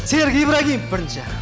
серік ибрагимов бірінші